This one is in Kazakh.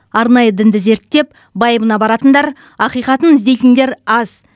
арнайы дінді зерттеп байыбына баратындар ақиқатын іздейтіндер аз